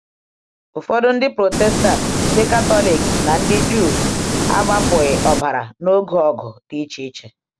Ụfọdụ Ndị Protestant, Ndị Katọlik, na ndị Juu agbapụghị ọbara n’oge ọgụ dị iche iche.